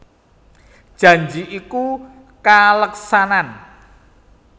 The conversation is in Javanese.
Janji iku kaleksanan